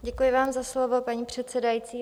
Děkuji vám za slovo, paní předsedající.